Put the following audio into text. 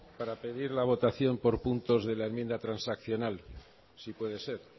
para pedir la votación por puntos de la enmienda transaccional si puede ser